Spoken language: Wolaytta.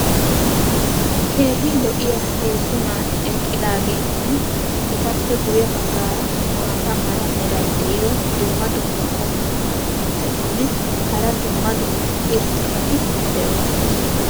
Keehi lo'iya Heezzu naati eqqidaageetinne etappe guye bagaara maata mala meray diyo dumma dumma qommo mitattinne hara dumma dumma irxxabati de'oosona.